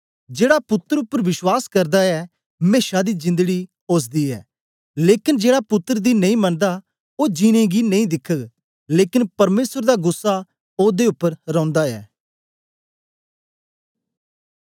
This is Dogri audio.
जेड़ा पुत्तर उपर विश्वास करदा ऐ मेशा दी जिंदड़ी ओसदी ऐ लेकन जेड़ा पुत्तर दी नेई मनदा ओ जिन्नें गी नेई दिखग लेकन परमेसर दा गुस्सा ओदे उपर रौंदा ऐ